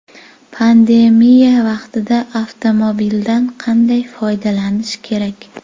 Pandemiya vaqtida avtomobildan qanday foydalanish kerak?.